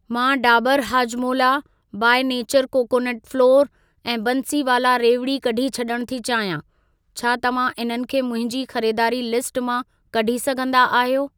मां Dabur Hajmola, by nature coconut flour ऐं बंसीवाला रेवड़ी कढी छॾण थी चाहियां। छा तव्हां इन्हनि खे मुंहिंजी खरीदारी लिस्ट मां कढी सघंदा आहियो?